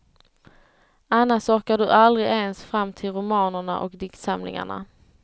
Annars orkar du aldrig ens fram till romanerna och diktsamlingarna.